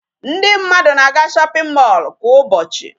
Ndị mmadụ na-aga shopping mall kwa ụbọchị.